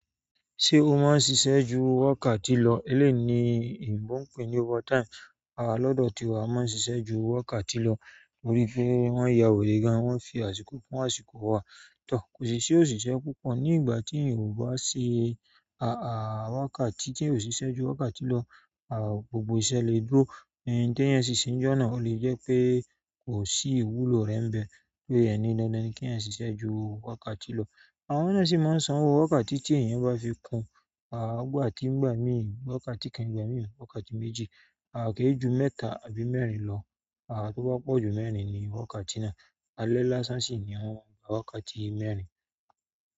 Ṣé o máa ń ṣiṣẹ́ ju wákàtí lọ? Eleyii ni ebò ń pè ní overtime. Lọ́dọ̀ tiwa a máa ń ṣiṣẹ ju wákàtí lọ torí pé wọ́n ya were gan, wọ́n fi àsìkò kún àsìkò wa. Kò sí ṣí òṣìṣẹ́ púpọ̀ ní ìgbà tí ìyàn o bá ṣe wákàtí tí ò ṣiṣẹ́ ju wákàtí lọ. Gbogbo iṣẹ́ le dúró, ohun ti iyan ṣì ṣe ní jọ́na o le jẹ́ pé kò sí ìwúlò rẹ̀ bẹ́ẹ̀, pé e ni dandan ni kí iyan ṣiṣẹ́ ju wákàtí lọ. Àwọn náà sì máa ń sanwó wákàtí tí èèyàn bá fi kun. Ìgbà mii, wákàtí kan, ìgbà mii, wákàtí méjì. Ke e ju mẹ́ta àbí mẹ́rin lọ. Tó bá pọ́ ju mẹ́rin ni wákàtí náà. Alẹ́ lásán sì ni wọ́n máa n kàà wákàtí mẹ́rin.